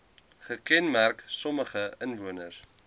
gekenmerk sommige inwoners